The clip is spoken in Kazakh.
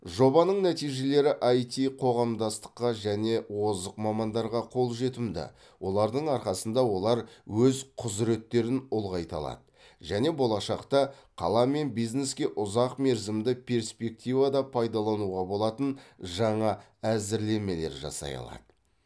жобаның нәтижелері айти қоғамдастыққа және озық мамандарға қолжетімді олардың арқасында олар өз құзыреттерін ұлғайта алады және болашақта қала мен бизнеске ұзақ мерзімді перспективада пайдалануға болатын жаңа әзірлемелер жасай алады